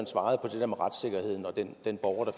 den borger der